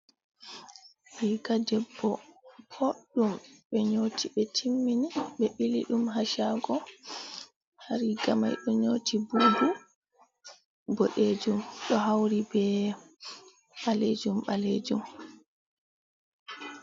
Riga debbo ɓoɗɗum be nyoti ɓe timmini ɓe ɓili ɗum ha shago, ha riga mai ɓe nyoti bubu boɗejum ɗo hauri be ɓalejum ɓalejum.